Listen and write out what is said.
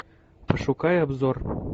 пошукай обзор